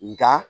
Nga